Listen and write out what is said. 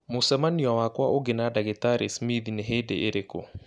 Mũcemanio wakwa ũngĩ na ndagĩtarĩ Smith nĩ hĩndĩ ĩrĩkũ